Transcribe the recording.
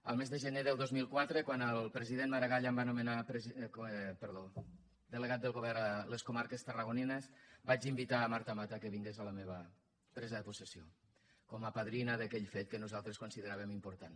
el mes de gener del dos mil quatre quan el president maragall em va nomenar delegat del govern a les comarques tarragonines vaig invitar marta mata que vingués a la meva presa de possessió com a padrina d’aquell fet que nosaltres consideràvem important